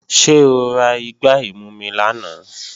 Ṣé o ra igbá ìmumi lánàá?